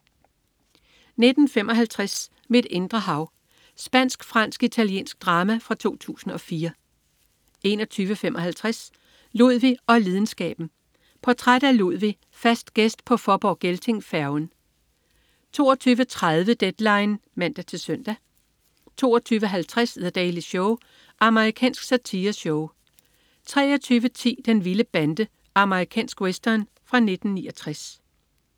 19.55 Mit indre hav. Spansk-fransk-italiensk drama fra 2004 21.55 Ludvig og lidenskaben. Portræt af Ludvig, fast gæst på Fåborg-Gelting-færgen 22.30 Deadline (man-søn) 22.50 The Daily Show. Amerikansk satireshow 23.10 Den vilde bande. Amerikansk western fra 1969